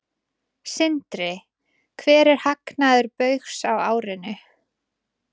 Sindri: Hver er hagnaður Baugs á árinu?